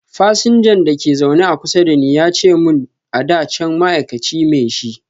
fasinjan da ke a zaune kusa da ni ya ce mun ada can ma'aikaci me shi.